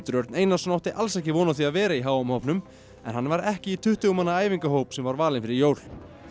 Örn Einarsson átti alls ekki von á því að vera í h m hópnum en hann var ekki í tuttugu manna æfingahópnum sem var valinn fyrir jól